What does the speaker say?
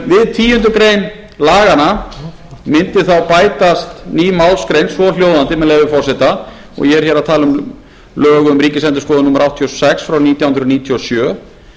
við tíundu grein laganna mundi þá bætast ný málsgrein svohljóðandi með leyfi forseta og ég er hér að tala um lög um ríkisendurskoðun númer áttatíu og sex frá nítján hundruð níutíu og sjö